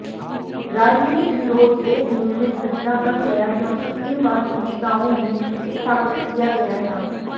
राजनीतिक विरोध एक नियमित घटना बन गया क्योंकि इन वास्तविकताओं में स्थापित किया गया था